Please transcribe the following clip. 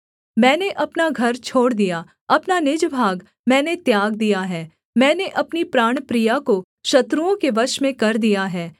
मैंने अपना घर छोड़ दिया अपना निज भाग मैंने त्याग दिया है मैंने अपनी प्राणप्रिया को शत्रुओं के वश में कर दिया है